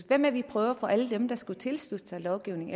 hvad med at vi prøver at få alle dem der skulle tilslutte sig lovgivningen